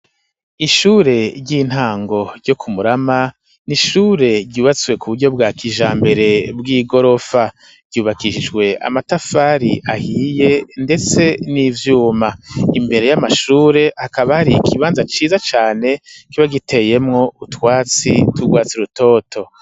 Ishure ry'intango ryo ku Murama, ni ishure ryubatswe ku buryo bwa kijambere, bw'igorofa, ryubakijwe amatafari ahiye ndetse n'ivyuma; imbere y'amashure hakaba hari ikibanza ciza cane, kiba giteyemwo utwatsi tw'urwatsi rutoto.